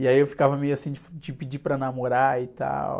E aí eu ficava meio assim de pedir para namorar e tal.